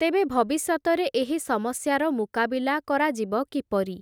ତେବେ ଭବିଷ୍ୟତରେ, ଏହି ସମସ୍ୟାର ମୁକାବିଲା କରାଯିବ କିପରି ।